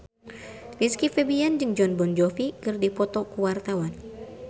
Rizky Febian jeung Jon Bon Jovi keur dipoto ku wartawan